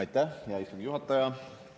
Aitäh, hea istungi juhataja!